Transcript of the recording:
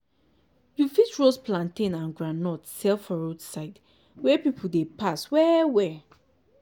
you fit roast plantain and groundnut sell for roadside wey people dey pass well-well.